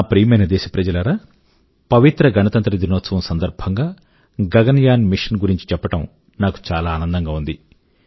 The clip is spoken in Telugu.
నా ప్రియమైన దేశప్రజలారా పవిత్ర గణతంత్ర దినోత్సవ సందర్భం గా గగన యాన్ మిశన్ గురించి చెప్పడం నాకు చాలా ఆనందం గా ఉంది